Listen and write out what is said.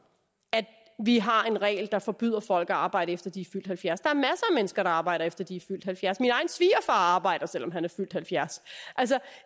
at vi har en regel der forbyder folk at arbejde efter de er fyldt halvfjerds der af mennesker der arbejder efter de er fyldt halvfjerds min egen svigerfar arbejder selv om han er fyldt halvfjerds